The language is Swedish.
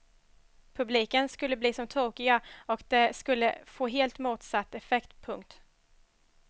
Publiken skulle bli som tokiga och det skulle få helt motsatt effekt. punkt